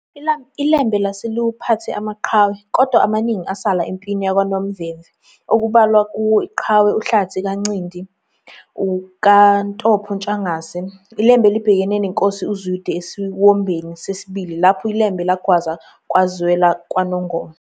ILembe lase liwaphethe amaqhawe, kodwa amaningi asala empini yakwaNomvemve okubalwa kuwo iqhawe uHlathi kaNcindi kaNtopho Ntshangase, iLembe libhekene neNkosi uZwide esiwombeni sesibili, lapho iLembe lagwaza kwazwela kwaNongoma.